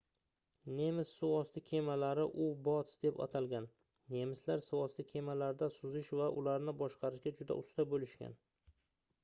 nemis suvosti kemalari u-boats deb atalgan nemislar suvosti kemalarida suzish va ularni boshqarishga juda usta boʻlishgan